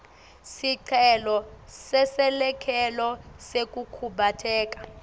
sicelo seselekelelo sekukhubateka